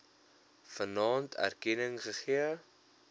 vanaand erkenning gegee